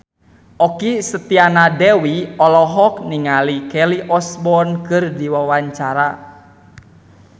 Okky Setiana Dewi olohok ningali Kelly Osbourne keur diwawancara